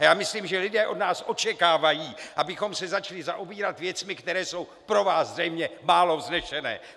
A já myslím, že lidé od nás očekávají, abychom se začali zaobírat věcmi, které jsou pro vás zřejmě málo vznešené.